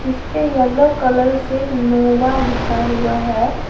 जिसपे yellow colour से Nova लिखा हुआ है।